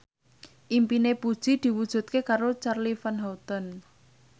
impine Puji diwujudke karo Charly Van Houten